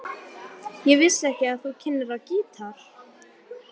Þeir sem skara fram úr í námi.